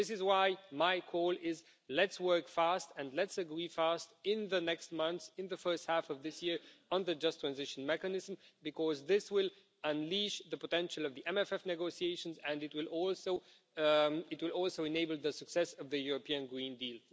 This is why my call is let's work fast and let's agree fast in the next month, in the first half of this year, on the Just Transition Mechanism. Because this will unleash the potential of the MFF negotiations and it will also enable the success of the European Green Deal.